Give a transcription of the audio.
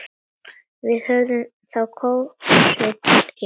Við höfum þá kosið rétt.